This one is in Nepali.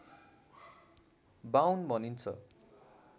बाउन भनिन्छ